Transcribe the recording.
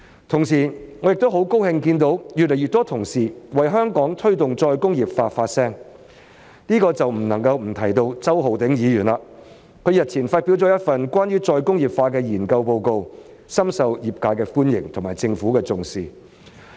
同時，我亦很高興看到有越來越多同事為香港推動再工業化發聲，這便不能不提到周浩鼎議員，他日前發表了一份關於再工業化的研究報告，深受業界的歡迎及政府的重視。